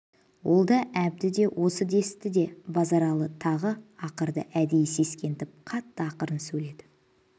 ол да әбді де осы десті деп базаралы тағы ақырды әдейі сескентіп қатты ақырып сөйледі